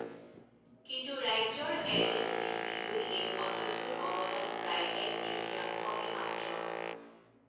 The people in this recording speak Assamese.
কিন্তু ৰাজ্যৰ এন এছ ডি পিলৈ এই খণ্ডটোৰ অৱদান প্ৰায় এক তৃতীয়াংশহে মাত্ৰ।